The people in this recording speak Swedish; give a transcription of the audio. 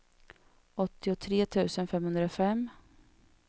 åttiotre tusen femhundrafem